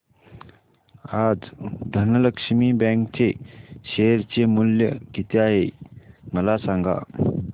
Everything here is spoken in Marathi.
आज धनलक्ष्मी बँक चे शेअर चे मूल्य किती आहे मला सांगा